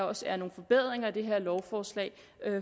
også er nogle forbedringer i det her lovforslag